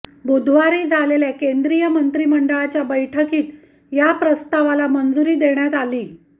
बुधवारी झालेल्या केंद्रीय मंत्रिमंडळाच्या बैठकीत या प्रस्तावाला मंजुरी देण्यात आली